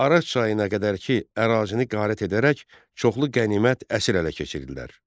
Araç çayına qədərki ərazini qarət edərək çoxlu qənimət, əsir ələ keçirdilər.